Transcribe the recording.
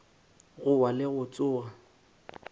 go wa le go tsoga